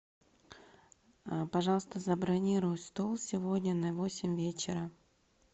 пожалуйста забронируй стол сегодня на восемь вечера